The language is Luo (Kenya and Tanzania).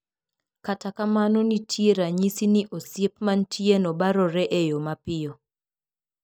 Kata kamano nitie ranyisi ni osiep mantieno barore e yo mapiyo.